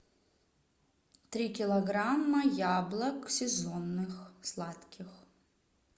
три килограмма яблок сезонных сладких